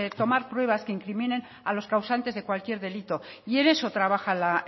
tomar pruebas que incriminen a los causantes de cualquier delito y en eso trabaja la